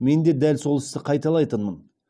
мен де дәл сол істі қайталайтынмын